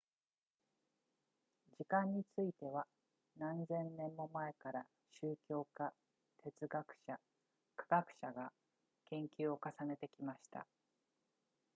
時間については何千年も前から宗教家哲学者科学者が研究を重ねてきました